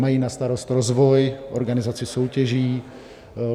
Mají na starost rozvoj, organizaci soutěží.